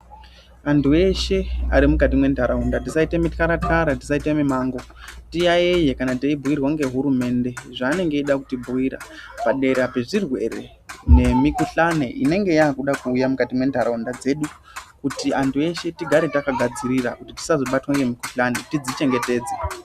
Antu eshe arimukati mentaraunda tisaite mikara-kara tisaite mimango tiyayeye kana teibhuirwa ngehurumende zvaanenge eida kutibhuira padera pezvirwere nemikuhlani inenge yaakuda kuuya mukati mwentaraunda dzedu. Kuti antu eshe tigare takagadzirira, tisazobatwa ngemikuhlani, tidzichengetedze.